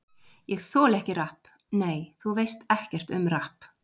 Ég þoli ekki rapp Nei, þú veist ekkert um rapp.